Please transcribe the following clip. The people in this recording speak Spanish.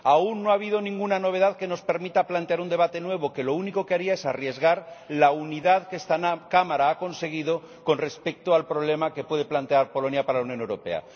Aún no ha habido ninguna novedad que nos permita plantear un debate nuevo, que lo único que haría es arriesgar la unidad que esta Cámara ha conseguido con respecto al problema que puede plantear Polonia para la Unión Europea.